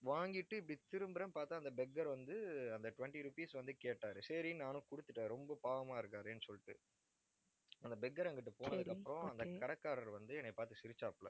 வாங்கிட்டு இப்படி திரும்புறேன்னு பார்த்தா அந்த beggar வந்து, அந்த twenty rupees வந்து கேட்டாரு சரின்னு நானும் கொடுத்துட்டேன். ரொம்ப பாவமா இருக்காரேன்னு சொல்லிட்டு அந்த beggar அங்கிட்டு போனதுக்கு அப்புறம் அந்த கடைக்காரர் வந்து, என்னை பார்த்து சிரிச்சாப்புல